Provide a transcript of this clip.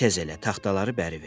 Te tez elə taxtaları bəri ver.